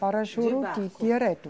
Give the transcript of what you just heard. Para Juruti, direto.